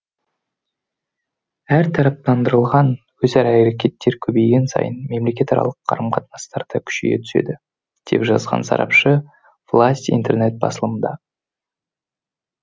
әртараптандырылған өзара әрекеттер көбейген сайын мемлекетаралық қарым қатынастар да күшейе түседі деп жазған сарапшы власть интернет басылымында